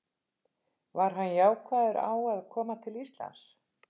Var hann jákvæður á að koma til Íslands?